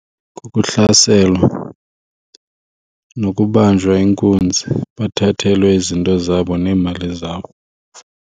Kukuhlaselwa nokubanjwa inkunzi bathathelwe izinto zabo neemali zabo.